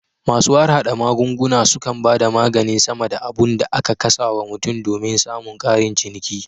Masu harhada magunguna sukan bada maganin sama da abun da aka casa wa mutum somin samun karin ciniki